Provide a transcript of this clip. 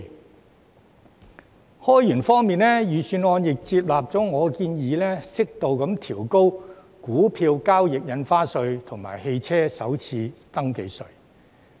在開源方面，預算案亦採納了我的建議，適度調高股票交易印花稅及汽車首次登記稅。